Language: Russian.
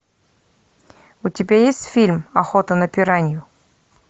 у тебя есть фильм охота на пиранью